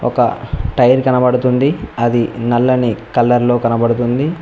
ఒక టైర్ కనపడుతుంది అది నల్లని కలర్లో కనబడుతుంది.